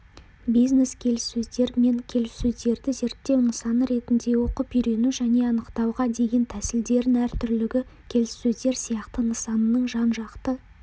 бизнес-келіссөздер мен келіссөздерді зерттеу нысаны ретінде оқып үйрену және анықтауға деген тәсілдердің әртүрлілігі келіссөздер сияқты нысанның жан-жақты